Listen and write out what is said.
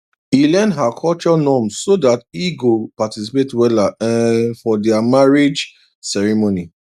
e learn her culture norms so that he go participate weller um for their marriage ceremony